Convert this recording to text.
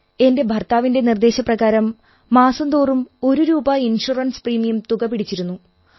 എന്റെ ഭർത്താവിന്റെ നിർദ്ദേശപ്രകാരം മാസം തോറും ഒരു രൂപ ഇൻഷുറൻസ് പ്രീമിയം തുക പിടിച്ചിരുന്നു